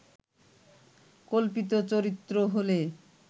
কল্পিত চরিত্র হলে